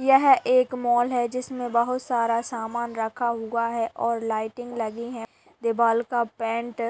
यह एक मॉल है| जिसमे बहुत सारा सामन रखा हुआ है और लाइटिंग लगी हैं और दीवाल का पेंट